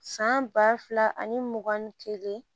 San ba fila ani mugan ni kelen